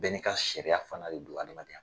Bɛɛ n'i ka seriya fana de don adamadenya